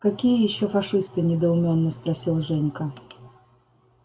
какие ещё фашисты недоумённо спросил женька